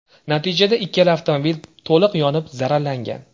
Natijada ikkala avtomobil to‘liq yonib zararlangan.